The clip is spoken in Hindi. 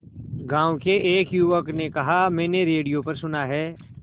गांव के एक युवक ने कहा मैंने रेडियो पर सुना है